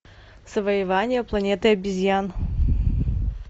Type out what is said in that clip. завоевание планеты обезьян